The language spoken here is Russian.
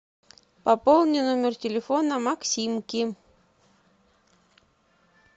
пополни номер телефона максимки